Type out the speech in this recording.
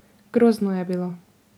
Grozno je bilo.